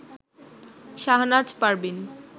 Shahnaz Parveen